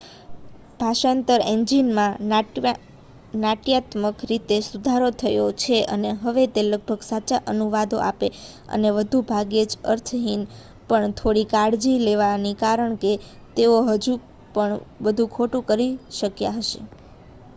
ભાષાંતર એન્જિનમાં નાટ્યાત્મક રીતે સુધારો થયો છે અને હવે તે લગભગ સાચા અનુવાદો આપે અને વધુ ભાગ્યે જ અર્થહીન પણ થોડી કાળજી લેવાની કારણ કે તેઓ હજુ પણ બધું ખોટું કરી શક્યા હશે